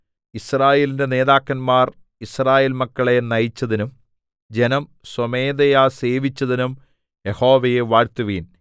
യിസ്രായേലിന്റെ നേതാക്കന്മാര്‍ യിസ്രായേല്‍ മക്കളെ നയിച്ചതിനും ജനം സ്വമേധയാ സേവിച്ചതിനും യഹോവയെ വാഴ്ത്തുവിൻ